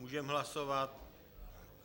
Můžeme hlasovat?